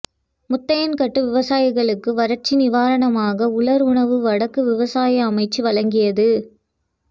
முத்தையன்கட்டு விவசாயிகளுக்கு வரட்சி நிவாரணமாகஉலர் உணவு வடக்கு விவசாய அமைச்சு வழங்கியது